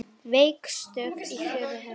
Veik stökk í fjórðu hendi!